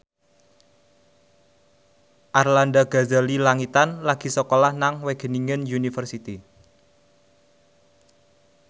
Arlanda Ghazali Langitan lagi sekolah nang Wageningen University